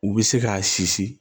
U bɛ se k'a sisi